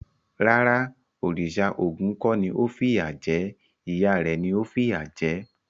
Rárá, òrìṣà Ògún kò ni ó fìyà jẹ ẹ́. Ìyá rẹ̀ ni ó fìyà jẹ̀ ẹ́.